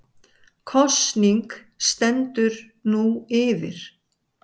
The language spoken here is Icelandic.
Kosning stendur nú yfir